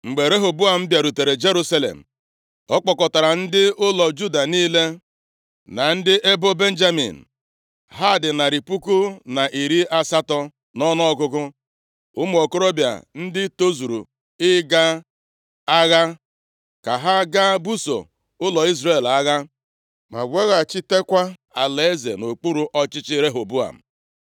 Mgbe Rehoboam bịarutere Jerusalem, ọ kpọkọtara ndị ụlọ Juda niile na ndị ebo Benjamin, ha dị narị puku na iri asatọ nʼọnụọgụgụ, ụmụ okorobịa ndị tozuru ịga agha, ka ha gaa buso ụlọ Izrel agha ma weghachitekwa alaeze nʼokpuru ọchịchị Rehoboam.